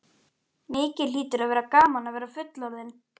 Mikið hlýtur að vera gaman að vera fullorðinn!